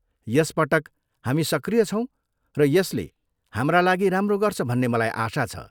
यस पटक, हामी सक्रिय छौँ र यसले हाम्रा लागि राम्रो गर्छ भन्ने मलाई आशा छ।